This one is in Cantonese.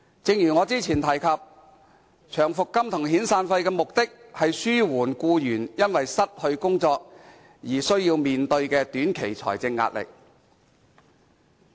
正如我較早前說過，長期服務金和遣散費的目的是紓緩僱員因失去工作而須面對的短期財政壓力。